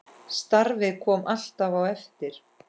Starfið kom alltaf á eftir.